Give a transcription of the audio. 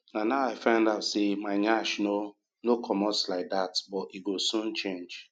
na now i find out sey my nyash no no comot like dat but e go soon change